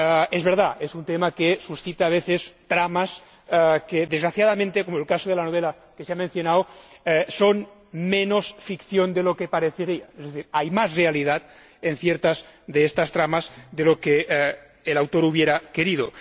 Es verdad, es un tema que suscita a veces dramas que, desgraciadamente, como en el caso de la novela que se ha mencionado, son menos ficción de lo que parecería. Hay más realidad en ciertas de estas tramas de lo que el autor hubiera querido.